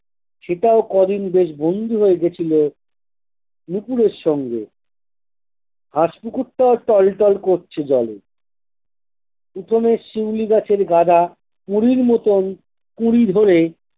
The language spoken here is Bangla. সেটাও কদিন বেশ বন্ধু হয়ে গেছিলো নুপূরের সঙ্গে হাঁস পুকুরটা টলটল করছে জলে পিছনে শিউলি গাছের গাদা পুড়ির মতন কুঁড়ি ধরে।